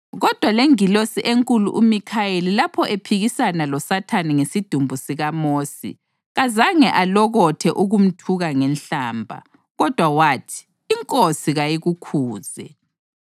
Kodwa lengilosi enkulu uMikhayeli lapho ephikisana loSathane ngesidumbu sikaMosi kazange alokothe ukumthuka ngenhlamba, kodwa wathi, “INkosi kayikukhuze!”